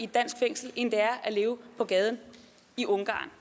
dansk fængsel end det er at leve på gaden i ungarn